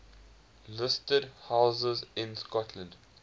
listed houses in scotland